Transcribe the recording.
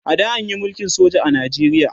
a da anyi mulkin soja a Najeriya